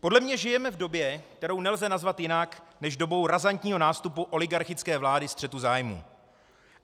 Podle mě žijeme v době, kterou nelze nazvat jinak než dobou razantního nástupu oligarchické vlády střetu zájmů.